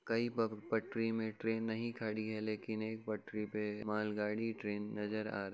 कई पप् पटरी में ट्रेन नहीं खड़ी है लेकिन एक पटरी पे मालगाड़ी ट्रेन नजर आ र --